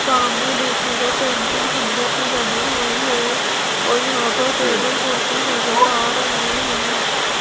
सामने देखिएगा पेंटिंग सुंदर सी लगी हुई है और यहां पर टेबल कुर्सी नजर आ रहे हैं।